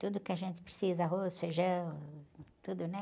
Tudo que a gente precisa, arroz, feijão, tudo, né?